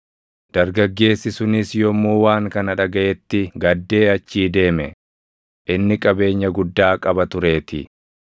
Dargaggeessi sunis yommuu waan kana dhagaʼetti gaddee achii deeme; inni qabeenya guddaa qaba tureetii.